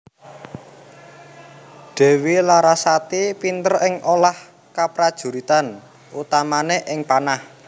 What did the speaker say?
Dewi Larasati pinter ing olah kaprajuritan utamane ing panah